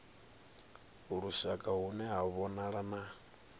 lushaka hune ha vhonala na